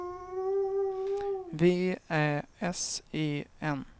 V Ä S E N